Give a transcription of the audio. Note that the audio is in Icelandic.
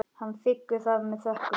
Hann þiggur það með þökkum.